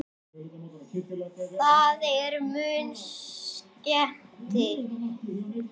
Það er mun skemmti